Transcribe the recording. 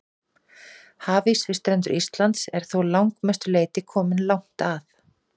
Hafís við strendur Íslands er þó að langmestu leyti kominn langt að.